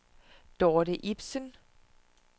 Dorthe Ibsen